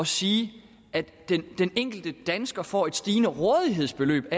sige at den enkelte dansker vil få et stigende rådighedsbeløb